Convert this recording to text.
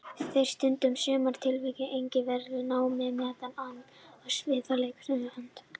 Þeir stunda í sumum tilvikum einnig verklegt nám, meðal annars á sviði leikstjórnar eða handritsgerðar.